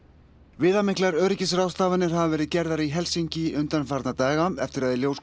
viðamiklar öryggisráðstafanir hafa verið gerðar í Helsinki undanfarna daga eftir að í ljós